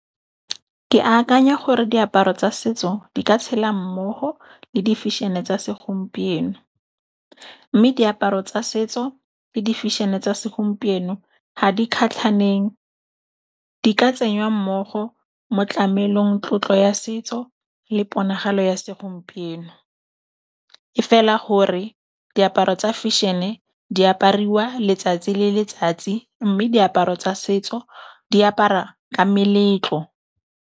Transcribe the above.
Ke akanya gore diaparo tsa setso di ka tshela mmogo le di fešhene tsa segompieno. Mme diaparo tsa setso le di fešhene tsa segompieno ga di kgatlhaneng, di ka tsenyiwa mmogo mo tlamelong, tlotlo ya setso le ponagalo ya segompieno. E fela gore diaparo tsa fešhene di apariwa letsatsi le letsatsi mme diaparo tsa setso di apara ka meletlo.